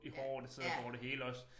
I håret det sidder over det hele også